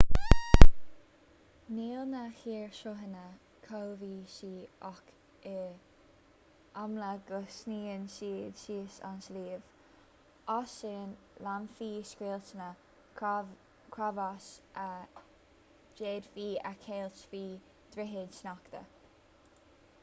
níl na hoighearshruthanna cobhsaí ach is amhlaidh go sníonn siad síos an sliabh as sin leanfaidh scoilteanna creabháis a d'fhéadfaí a cheilt faoi dhroichid sneachta